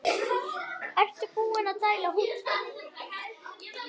Ertu búinn að dælda húddið?